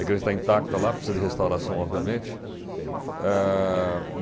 A igreja está intacta lá, precisa de restauração, obviamente. Ah